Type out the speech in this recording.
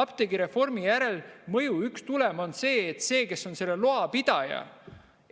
Apteegireformi järelmõju, üks tulem on see, et see, kes on selle loa pidaja,